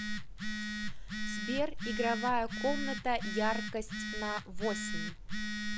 сбер игровая комната яркость на восемь